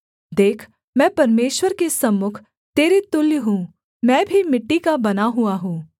देख मैं परमेश्वर के सन्मुख तेरे तुल्य हूँ मैं भी मिट्टी का बना हुआ हूँ